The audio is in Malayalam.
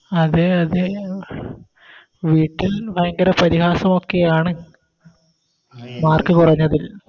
അതെ അതെ വീട്ടിൽ ഭയങ്കര പരിഹാസമൊക്കെയാണ് mark കൊറഞ്ഞതിൽ